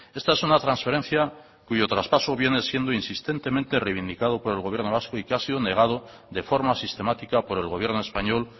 esta es una transferencia cuyo traspaso viene siendo insistentemente reivindicado por el gobierno vasco y que ha sido negado de forma sistemática por el gobierno español